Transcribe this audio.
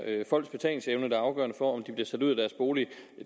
folks betalingsevne der er afgørende for om de bliver sat ud af deres bolig